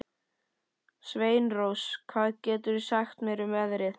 Sveinrós, hvað geturðu sagt mér um veðrið?